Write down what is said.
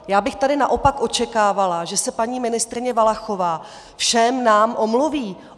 Já bych tady naopak očekávala, že se paní ministryně Valachová všem nám omluví.